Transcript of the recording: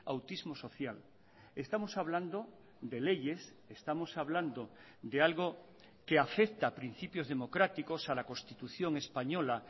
autismo social estamos hablando de leyes estamos hablando de algo que afecta a principios democráticos a la constitución española